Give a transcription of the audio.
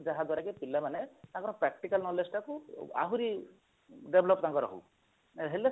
ଯାହାଦ୍ୱାରା କି ପିଲାମାନେ ତାଙ୍କର practical knowledge ଟା କୁ ଆହୁରି develop ତାଙ୍କର ହଉ ହେଲେ